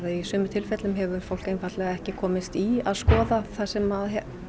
í sumum tilfellum hefur fólk ekki komst í að skoða þar sem